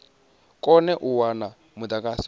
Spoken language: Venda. kone u wana mudagasi wa